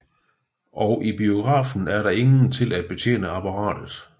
Og i biografen er der ingen til at betjene apparatet